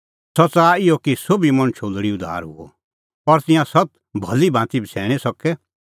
सह च़ाहा इहअ कि सोभी मणछो लोल़ी उद्धार हुअ और तिंयां सत्त भली भांती बछ़ैणीं सके